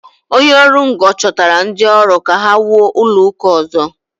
Onye ọrụ ngo chọtara ndị ọrụ ka ha wuo ụlọ ụka ọzọ.